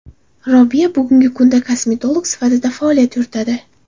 Robiya bugungi kunda kosmetolog sifatida faoliyat yuritadi.